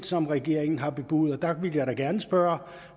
som regeringen har bebudet og der vil jeg da gerne spørge